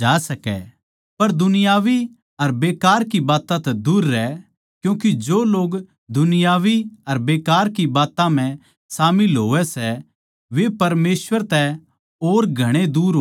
पर दुनियावी अर बेकार की बात्तां तै दूर रह क्यूँके जो लोग दुनियावी अर बेकार की बात्तां म्ह शामिल होवै सै वे परमेसवर तै और घणे दूर हो जावै सै